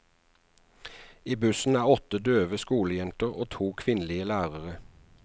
I bussen er åtte døve skolejenter og to kvinnelige lærere.